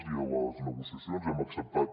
i a les negociacions hem acceptat